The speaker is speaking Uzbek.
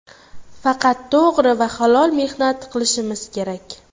Faqat to‘g‘ri va halol mehnat qilishimiz kerak.